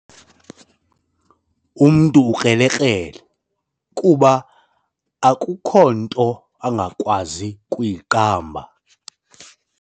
Umntu ukrelekrele kuba akukho nto angakwazi kuyiqamba.